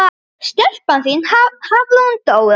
Stelpan þín, Hafrún Dóra.